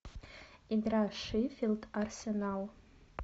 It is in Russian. игра шеффилд арсенал